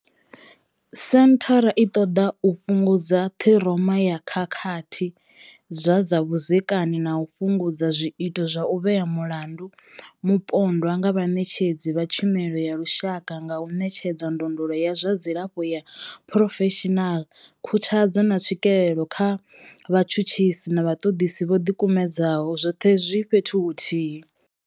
Senthara i ṱoḓa u fhungudza ṱhiroma ya khakhathi dza zwa vhudzekani na u fhungudza zwiito zwa u vhea mulandu mupondwa nga vhaṋetshedzi vha tshumelo ya lushaka nga u ṋetshedza ndondolo ya zwa dzilafho ya phurofeshinala, khuthadzo, na tswikelo kha vhatshutshisi na vhaṱoḓisi vho ḓikumedzaho, zwoṱhe zwi fhethu huthihi.